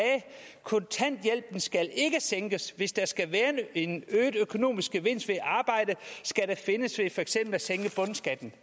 kontanthjælpen skal ikke sænkes hvis der skal være en øget økonomisk gevinst ved at arbejde skal den findes ved for eksempel at sænke bundskatten